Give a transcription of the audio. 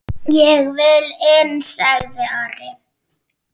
Ég vil inn, sagði Ari.